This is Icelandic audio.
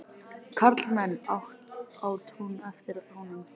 Karlmenn! át hún eftir honum.